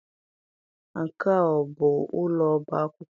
Nke a ọ bụ ụlọ ọba akwụkwọ?